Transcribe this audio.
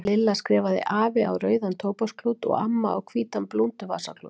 Lilla skrifaði AFI á rauðan tóbaksklút og AMMA á hvítan blúnduvasaklút.